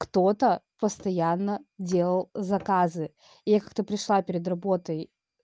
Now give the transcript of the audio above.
кто-то постоянно делал заказы я как то пришла перед работой